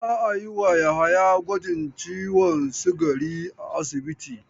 Za a yi wa Yahaya gwajin ciwon sikari a asibiti.